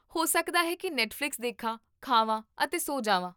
ਹੋ ਸਕਦਾ ਹੈ ਕੀ ਨੈੱਟਫ਼ਲਿਕਸ ਦੇਖਾਂ, ਖਾਵਾਂ ਅਤੇ ਸੋ ਜਾਵਾਂ